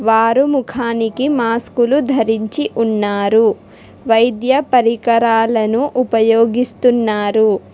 ఆరు ముఖానికి మాస్కులు ధరించి ఉన్నారు వైద్య పరికరాలను ఉపయోగిస్తున్నారు.